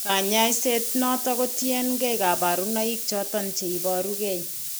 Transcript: Kanyaisiet noton ko tien kee kabarunaik choton cheibaru gee